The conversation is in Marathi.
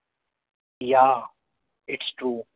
yaa its true